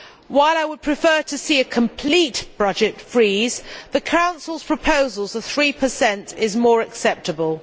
While I would prefer to see a complete budget freeze, the Council's proposal of 3 is more acceptable.